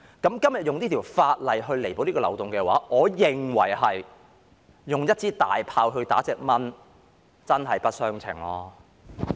今天用此項法例彌補這個漏洞的話，我認為猶如用一門大炮打一隻蚊子，真是不相稱。